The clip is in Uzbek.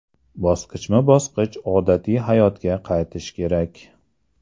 Bosqichma-bosqich odatiy hayotga qaytish kerak.